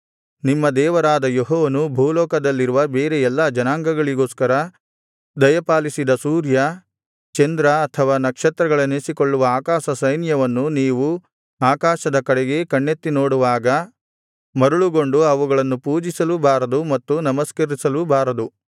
ನಿಮ್ಮ ದೇವರಾದ ಯೆಹೋವನು ಭೂಲೋಕದಲ್ಲಿರುವ ಬೇರೆ ಎಲ್ಲಾ ಜನಾಂಗಗಳಿಗೋಸ್ಕರ ದಯಪಾಲಿಸಿದ ಸೂರ್ಯ ಚಂದ್ರ ಅಥವಾ ನಕ್ಷತ್ರಗಳೆನಿಸಿಕೊಳ್ಳುವ ಆಕಾಶಸೈನ್ಯವನ್ನು ನೀವು ಆಕಾಶದ ಕಡೆಗೆ ಕಣ್ಣೆತ್ತಿ ನೋಡುವಾಗ ಮರುಳುಗೊಂಡು ಅವುಗಳನ್ನು ಪೂಜಿಸಲೂ ಬಾರದು ಮತ್ತು ನಮಸ್ಕರಿಸಲೂ ಬಾರದು